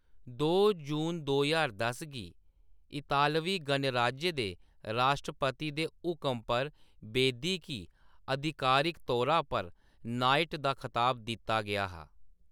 दो जून दो ज्हार दस गी इतालवी गणराज्य दे राश्ट्रपति दे हुकम पर, बेदी गी आधिकारिक तौरा पर नाइट दा खताब दित्ता गेआ हा।